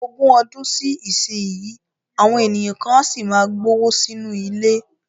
Ogún ọdún sí ìsinyìí, àwọn ènìyàn kan á sì máa gbówó sínú ilé